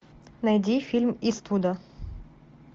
найди фильм иствуда